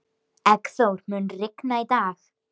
Eggþór, mun rigna í dag?